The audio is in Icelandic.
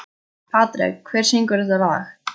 Patrek, hver syngur þetta lag?